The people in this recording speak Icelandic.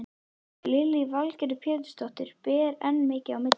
Lillý Valgerður Pétursdóttir: Ber enn mikið á milli?